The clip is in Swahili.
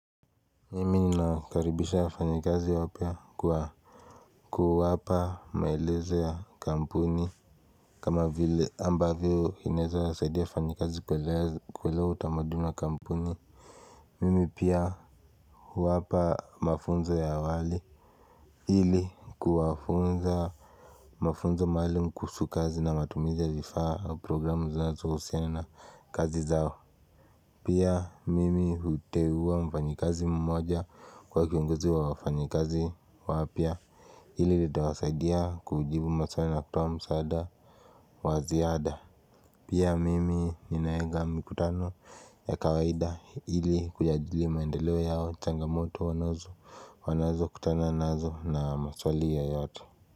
Mimi ninawakaribisha wafanyikazi wapya kwa kuwapa maeleze ya kampuni kama vile ambavyo inawezawasaidia wafanyikazi kuelewa utamaduni wa kampuni Mimi pia huwapa mafunzo ya awali ili kuwafunza mafunzo maalum kuhusu kazi na matumizi ya vifaa au programu zinazohusiana na kazi zao Pia mimi huteuwa mfanyikazi mmoja kuwa kiongozi wa wafanyikazi wapya. Hili litawasaidia kujibu maswali na kutowa msaada wa ziada Pia mimi ninaweka mikutano ya kawaida ili kujadili maendeleo yao changamoto wanazo wanazo kutana nazo na maswali yoyato.